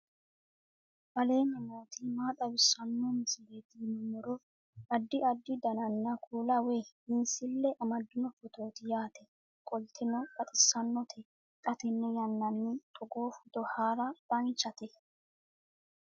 aleenni nooti maa xawisanno misileeti yinummoro addi addi dananna kuula woy biinsille amaddino footooti yaate qoltenno baxissannote xa tenne yannanni togoo footo haara danchate